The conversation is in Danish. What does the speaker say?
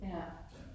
Ja